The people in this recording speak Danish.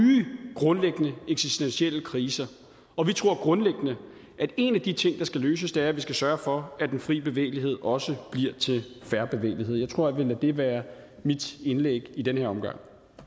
grundlæggende eksistentielle kriser og vi tror grundlæggende at en af de ting der skal løses er at vi skal sørge for at den fri bevægelighed også bliver til fair bevægelighed jeg tror jeg vil lade det være mit indlæg i den her omgang